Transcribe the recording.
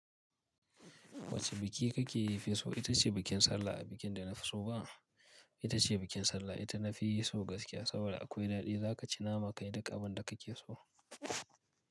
Wacce biki kake yi fi so? Ita ce bikin sallah a bikin da na fi so ba? Ita ce bikin sallah. Ita na fi so gaskiya saboda akwai daɗi. Za ka ci nama kai duk abin da kake so.